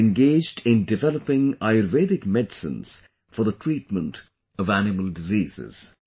It is engaged in developing Ayurvedic Medicines for the treatment of animal diseases